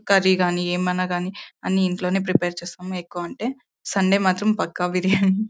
Curry గానీ ఏమైనా గానీ అన్ని ఇంట్లోనే ప్రీపేర్ చేస్తాము. ఎక్కువ అంటే సండే మాత్రం పక్క బిర్యానీ .]